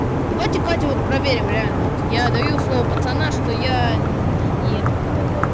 давайте катю вот проверим реально вот я даю слово пацана что я ну не этот не долбаёб